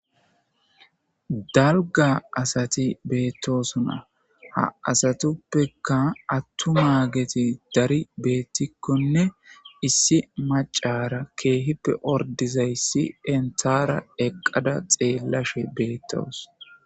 dalga asati beettosona ha asatuppeka attumaageti dari beettikkonne issi macara keehippe ordizayssi dentara eqqada xeellashe beettoos